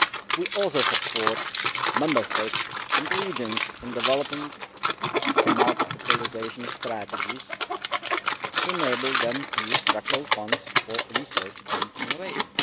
We also support Member States and the regions in developing smart specialisation strategies to enable them to use Structural Funds for research and innovation.